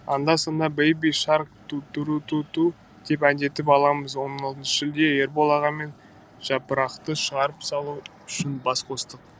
анда санда бэйби шарк тутутутруту деп әндетіп аламыз он алтыншы шілде ербол аға мен жапырақты шығарып салу үшін бас қостық